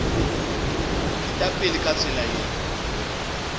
eta pele ka tsela ye